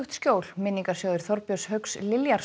skjól minningarsjóður Þorbjörns Hauks